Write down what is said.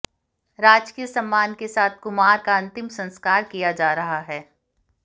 राजकीय सम्मान के साथ कुमार का अंतिम संस्कार किया जा रहा है